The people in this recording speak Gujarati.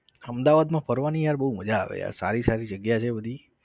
અમદાવાદમાં ફરવાની યાર બવું મજા આવે યાર સારી સારી જગ્યા છે બધી